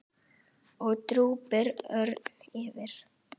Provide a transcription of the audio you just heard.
og drúpir örn yfir.